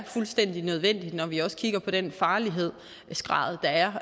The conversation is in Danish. fuldstændig nødvendigt når vi også kigger på den farlighedsgrad der er